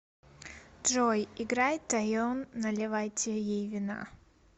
джой играй тайон наливайте ей вина